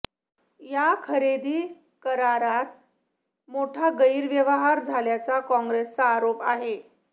या खरेदी करारात मोठा गैरव्यवहार झाल्याचा काँग्रेसचा आरोप आहे